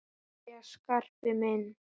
Jæja, Skarpi minn.